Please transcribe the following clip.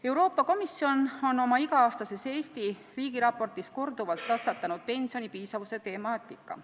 Euroopa Komisjon on oma iga-aastases Eesti riigiraportis korduvalt tõstatanud pensioni piisavuse temaatika.